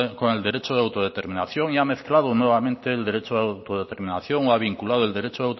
con el derecho de autodeterminación y ha mezclado nuevamente el derecho de autodeterminación o ha vinculado el derecho